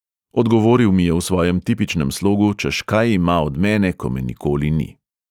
Odgovoril mi je v svojem tipičnem slogu, češ kaj ima od mene, ko me nikoli ni.